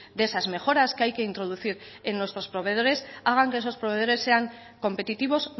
de esas mejoras que hay que introducir en nuestros proveedores hagan que esos proveedores sean competitivos